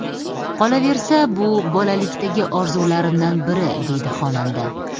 Qolaversa, bu bolalikdagi orzularimdan biri”, deydi xonanda.